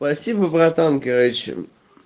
спасибо братан короче